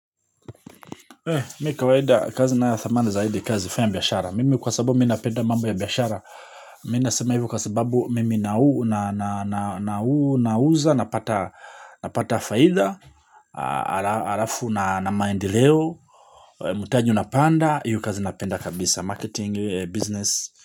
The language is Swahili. Mi kawaida kazi na ya thamani zaidi kazi faya mbiashara. Mimi kwa sababu minapenda mambo ya biashara. Mimi nasema hivu kwa sababu mimi nauza, napata faidha, alafu na maendeleo, mutaju una panda, hiyou kazi napenda kabisa, marketing, business.